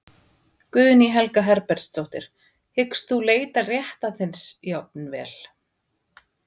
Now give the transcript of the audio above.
Guðný Helga Herbertsdóttir: Hyggst þú leita réttar þíns jafnvel?